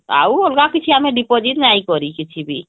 ଆଉ ଅଲଗା କିଛି deposit ଆମେ ନାଇଁ କରି କିଛିବି